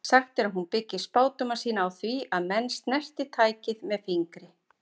Sagt er að hún byggi spádóma sína á því að menn snerti tækið með fingri.